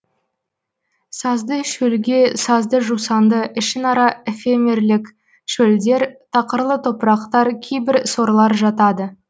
сазды шөлге сазды жусанды ішінара эфемерлік шөлдер тақырлы топырақтар кейбір сорлар жатады